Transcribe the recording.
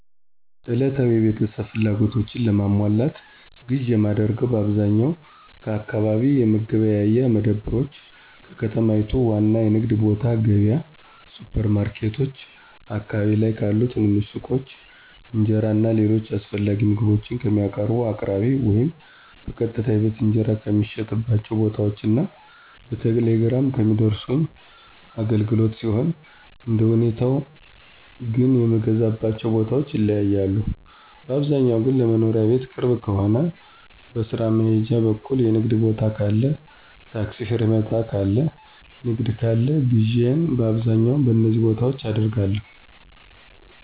ዕለታዊ የቤተሰብ ፍላጎቶችን ለማሟላት ግዥ የማደርገው በአብዛኛው ከአካባቢ የመገበያያ መደብሮች፣ ከከተማይቱ ዋና የንግድ ቦታ ገብያ፣ ሱፐር ማርኬቶች፣ አካባቢ ላይ ካሉ ትንንሽ ሱቆች፣ እንጀራ እና ሌሎች አስፈላጊ ምግቦችን ከሚያቀርቡ አቅራቢዎች ወይም በቀጥታ የቤት እንጀራ ከሚሸጥባቸው ቦታዎች እና በቴሌግራም ከሚያደርሱ አገልግሎቶች ሲሆን አንደሁኔታው ግን የምገዛባቸው ቦታዎች ይለያያሉ, ባብዛኛው ግን ለመኖሪያ ቤት ቅርብ ከሆነ, በስራ መሄጃ በኩል የንግድ ቦታ ካለ ,ታክሲ ፌርማታ ጋር ንግድ ካለ ግዢየን በአብዛኛው በነዚ ቦታዎች አደርጋለሁ።